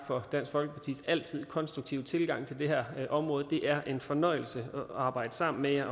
for dansk folkepartis altid konstruktive tilgang til det her område det er en fornøjelse at arbejde sammen med jer